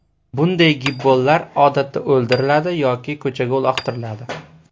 Bunday gibbonlar odatda o‘ldiriladi yoki ko‘chaga uloqtiriladi.